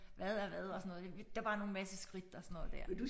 Hvad er hvad og sådan noget der var nogle masse skridt og sådan noget der